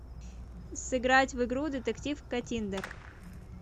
сыграть в игру детектив каттиндер